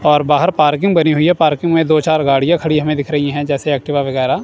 और बाहर पार्किंग बनी हुई है पार्किंग में दो चार गाड़ियां खड़ी हमें दिख रही है जैसे एक्टिवा वगैरा।